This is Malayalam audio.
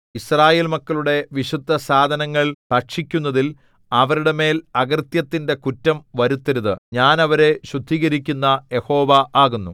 യിസ്രായേൽ മക്കളുടെ വിശുദ്ധസാധനങ്ങൾ ഭക്ഷിക്കുന്നതിൽ അവരുടെ മേൽ അകൃത്യത്തിന്റെ കുറ്റം വരുത്തരുത് ഞാൻ അവരെ ശുദ്ധീകരിക്കുന്ന യഹോവ ആകുന്നു